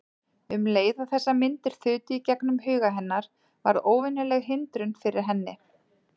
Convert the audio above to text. Um leið og þessar myndir þutu í gegnum huga hennar varð óvenjuleg hindrun fyrir henni.